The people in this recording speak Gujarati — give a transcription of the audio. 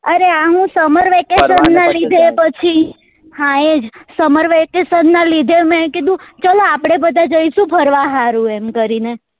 અરે આ હું summer vacation નાં લીધે પછી હા એ જ summer vacation ના લીધે મેં કીધું ચલો આપડે બધા જઈસુ ફરવા હારું એમ કરી ને